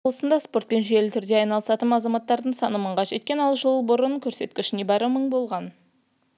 айта кетейік павлодар облысында спортпен жүйелі түрде айналысатын азаматтардың саны мыңға жеткен ал жыл бұрын бұл көрсеткіш небары мың болған